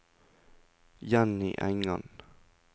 Jenny Engan